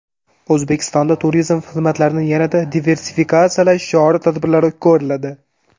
O‘zbekistonda turizm xizmatlarini yanada diversifikatsiyalash chora-tadbirlari ko‘riladi.